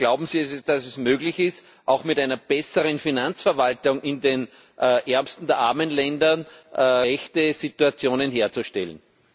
Glauben Sie, dass es möglich ist, auch mit einer besseren Finanzverwaltung in den ärmsten der armen Ländern gerechte Situationen herzustellen?